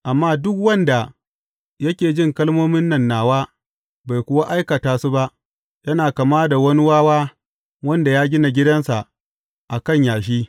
Amma duk wanda yake jin kalmomin nan nawa bai kuwa aikata su ba, yana kama da wani wawa wanda ya gina gidansa a kan yashi.